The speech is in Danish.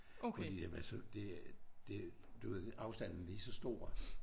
Fordi jamen altså det det du ved afstanden lige så stor